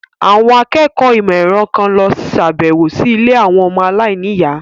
Àwọn akẹ́kọ̀ọ́ ìmọ̀ ẹ̀rọ kan lọ sàbẹ̀wò sí ilé àwọn ọmọ aláìníyàá.